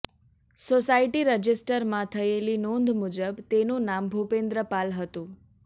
society રજિસ્ટરમાં થયેલી નોંધ મુજબ તેનું નામ ભૂપેન્દ્ર પાલ હતું